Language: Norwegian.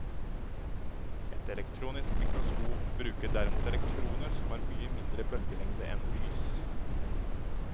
Et elektronisk mikroskop bruker derimot elektroner som har mye mindre bølgelengde enn lys.